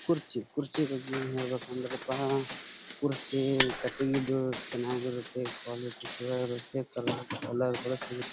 ಕುರ್ಚಿ ಕುರ್ಚಿ ಬಗ್ಗೆ ಏನ ಹೇಳ್ ಬೇಕಂದ್ರೆ ಅಪ್ಪಾ ಕುರ್ಚಿ ಕಟಿಂಗ್ ದು ಚೆನ್ನಾಗಿರುತ್ತೆ ಕ್ವಾಲಿಟಿ ಚಲೋ ಇರುತ್ತೆ ಕಲರ್ ಬಳಸಿ-- .